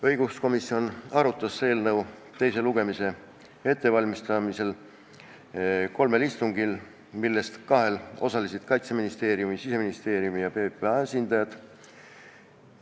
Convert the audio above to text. Õiguskomisjon arutas eelnõu teise lugemise ettevalmistamiseks kolmel istungil, millest kahel osalesid Kaitseministeeriumi, Siseministeeriumi ja PPA esindajad.